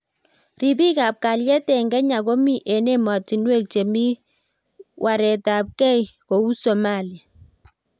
ripik ab kalyet eng Kenya komi eng emotinwek chemi waret ab kei kou Somalia